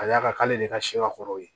Ka d'a kan k'ale de ka sɛ kɔrɔw ye